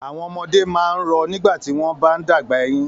Àwọn ọmọdé máa ń rọ nígbà tí wọ́n bá ń dàgbà eyín.